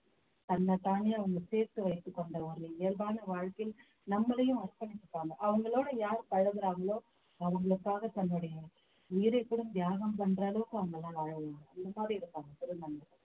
தன்னைத்தானே அவங்க சேர்த்து வைத்துக் கொண்ட ஒரு இயல்பான வாழ்க்கை நம்மளையும் அர்பணிச்சிப்பாங்க அவங்களோட யார் பழகுறாங்களோ அவங்களுக்காக தன்னுடைய உயிரை கூட தியாகம் பண்ற அளவுக்கு அவங்கெல்லாம் வாழுவாங்க அந்த மாதிரி இருப்பாங்க திருநங்கைகள்